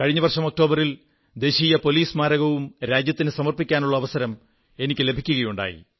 കഴിഞ്ഞ വർഷം ഒക്ടോബറിൽ ദേശീയ പോലീസ് സ്മാരകവും രാജ്യത്തിനു സമർപ്പിക്കാനുള്ള അവസരം എനിക്കു ലഭിക്കുകയുണ്ടായി